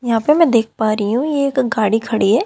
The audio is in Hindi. यहां पे मैं देख पा रही हूं ये एक गाड़ी खड़ी है।